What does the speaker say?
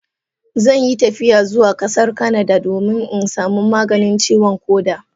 Zan yi tafiya zuwa kasar canada domin in samu maganin ciwon koda.